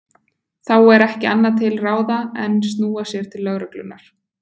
Þá er ekki annað til ráða en snúa sér til lögreglunnar.